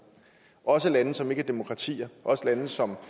også lande som ikke er demokratier også lande som